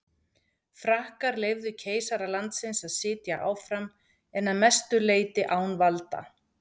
Frakkar leyfðu keisara landsins að sitja áfram en að mestu leyti án valda.